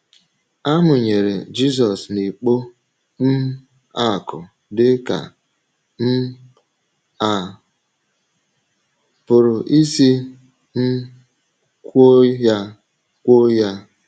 À mụnyere Jizọs n’ikpo um akụ̀ dị ka um a pụrụ isi um kwuo ya kwuo ya?